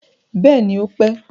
Bẹẹni ó pé